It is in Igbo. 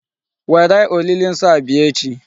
Were olili nsọ a bịa echi.